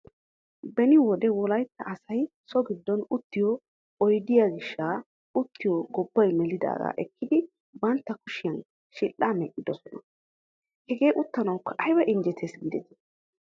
Beni wode wolaytta asay so giddon uttiyo oydiya gishshaa uuttaa gobbay melidaagaa ekkidi bantta kushiyan shidhshaa medhdhoosona. Hegee uttanawukka ayba injjetees giidetii!